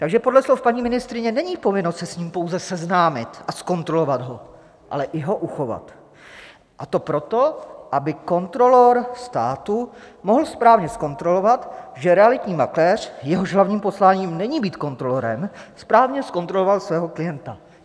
Takže podle slov paní ministryně není povinnost se s ním pouze seznámit a zkontrolovat ho, ale i ho uchovat, a to proto, aby kontrolor státu mohl správně zkontrolovat, že realitní makléř, jehož hlavním posláním není být kontrolorem, správně zkontroloval svého klienta.